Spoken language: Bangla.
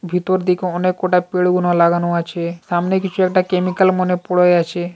ভিতর দেখে অনেক কটা পেড়ে কোন লাগানো আছে | সামনে কিছু একটা কেমিক্যাল মনে পড়ে আছে।